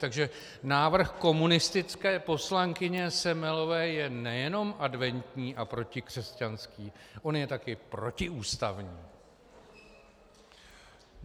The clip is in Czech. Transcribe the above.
Takže návrh komunistické poslankyně Semelové je nejenom adventní a protikřesťanský, on je taky protiústavní.